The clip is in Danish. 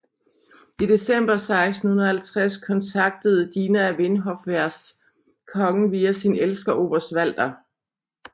I december 1650 kontaktede Dina Vinhofvers kongen via sin elsker oberst Walter